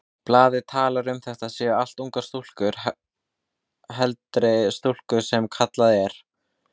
Blaðið talar um að þetta séu allt ungar stúlkur, heldri stúlkur sem kallað er.